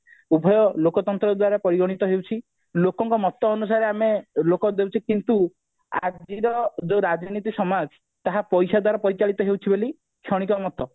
ଉଭୟ ଲୋକତନ୍ତ୍ର ଦ୍ଵାରା ପରିଗଣିତ ହେଉଛି ଲୋକଙ୍କ ମତ ଅନୁସାରେ ଆମେ ଲୋକ ଦେଉଛେ କିନ୍ତୁ ଆଜିର ଯୋଉ ରାଜନୀତି ସମାଜ ତାହା ପଇସା ଦ୍ଵାରା ପରିଚାଳିତ ହଉଛି ବୋଲି କ୍ଷଣିକ ମତ